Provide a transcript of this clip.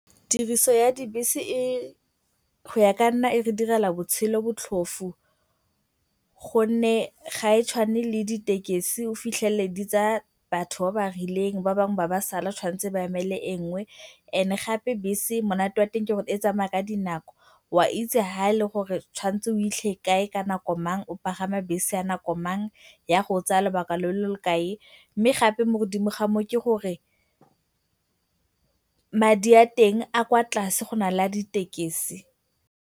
Tiriso ya dibese go ya ka nna e re direla botshelo botlhofo gonne ga e tshwane le ditekisi. O fitlhele di tsaya batho ba ba rileng ba bangwe ba be ba sala, ba tshwantse ba emele engwe and gape bese monate wa teng gore e tsamaya ka dinako. O a itse fa e le gore tshwantse o fitlhe kae ka nako mang, o pagama bese ya nako mang, e ya go tsaya lobaka lo lo kae mme gape mo godimo ga moo ke gore madi a teng a kwa tlase go na le a ditekisi.